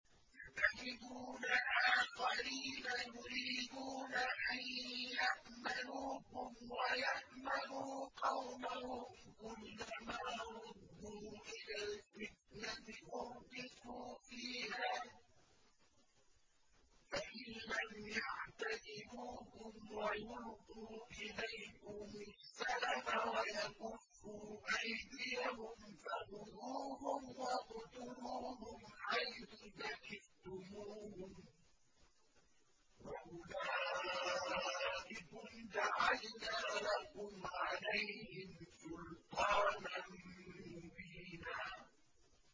سَتَجِدُونَ آخَرِينَ يُرِيدُونَ أَن يَأْمَنُوكُمْ وَيَأْمَنُوا قَوْمَهُمْ كُلَّ مَا رُدُّوا إِلَى الْفِتْنَةِ أُرْكِسُوا فِيهَا ۚ فَإِن لَّمْ يَعْتَزِلُوكُمْ وَيُلْقُوا إِلَيْكُمُ السَّلَمَ وَيَكُفُّوا أَيْدِيَهُمْ فَخُذُوهُمْ وَاقْتُلُوهُمْ حَيْثُ ثَقِفْتُمُوهُمْ ۚ وَأُولَٰئِكُمْ جَعَلْنَا لَكُمْ عَلَيْهِمْ سُلْطَانًا مُّبِينًا